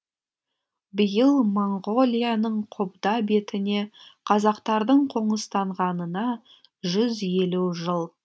биыл моңғолияның қобда бетіне қазақтардың қоныстанғанына жүз елу жыл